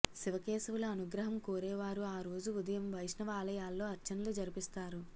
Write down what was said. శివకేశవుల అనుగ్రహం కోరేవారు ఆ రోజు ఉదయం వైష్ణవాలయాల్లో అర్చనలు జరిపిస్తారు